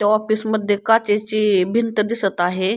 त्या ऑफिस मध्ये काचेची भिंत दिसत आहे.